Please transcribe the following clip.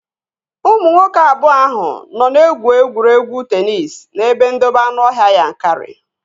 Ụmụ nwoke abụọ ahụ nọ na-egwu egwuregwu teenis n'ebe ndobe anụọhịa Yankari